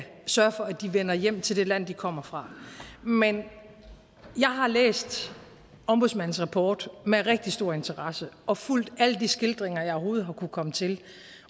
sørge for at de vender hjem til det land de kommer fra men jeg har læst ombudsmandens rapport med rigtig stor interesse og fulgt alle de skildringer jeg overhovedet har kunnet komme til